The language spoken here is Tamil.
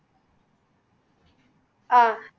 அஹ்